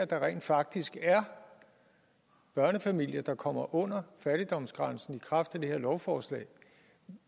der rent faktisk er børnefamilier der kommer under fattigdomsgrænsen i kraft af det her lovforslag